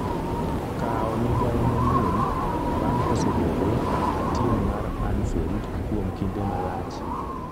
kawo migawo manyien bang' kosebedo a tim mar Anfield kuom kinde malach